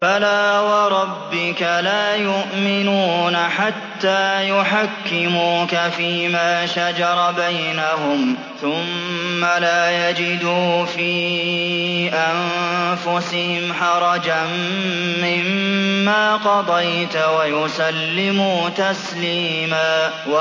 فَلَا وَرَبِّكَ لَا يُؤْمِنُونَ حَتَّىٰ يُحَكِّمُوكَ فِيمَا شَجَرَ بَيْنَهُمْ ثُمَّ لَا يَجِدُوا فِي أَنفُسِهِمْ حَرَجًا مِّمَّا قَضَيْتَ وَيُسَلِّمُوا تَسْلِيمًا